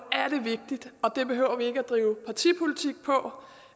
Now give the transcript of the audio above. er det vigtigt og det behøver vi ikke at drive partipolitik på